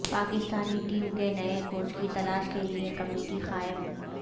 Pakistani team کے نئے coach کی تلاش کے لیے کمیٹی قائم